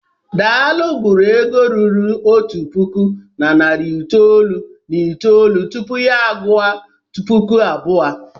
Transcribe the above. Daalụ gụrụ ego ruru otu puku na narị itoolu na itoolu tupu ya a gụọ puku abụọ.